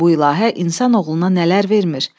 Bu ilahə insanoğluna nələr vermir.